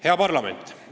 Hea parlament!